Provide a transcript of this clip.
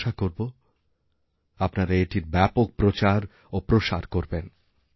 আমি আশা করব আপনারা এটির ব্যাপক প্রচার ও প্রসার করবেন